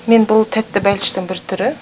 мен бұл тәтті бәліштің бір түрі